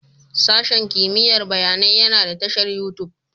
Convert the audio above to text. Sashen kimiyyar bayanai yana da tashar YouTube